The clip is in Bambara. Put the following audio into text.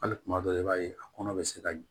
Hali kuma dɔ la i b'a ye a kɔnɔ bɛ se ka